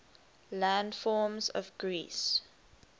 landforms of greece